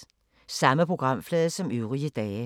Samme programflade som øvrige dage